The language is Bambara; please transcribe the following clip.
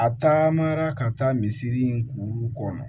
A taamara ka taa misiri in kuru kɔnɔ